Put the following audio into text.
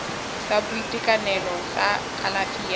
sa boitekanelo sa kalafi ya